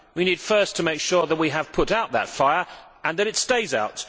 We need first to make sure that we have put out that fire and that it stays out.